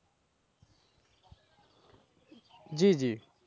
জি জি,